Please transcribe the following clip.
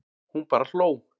Hún bara hló.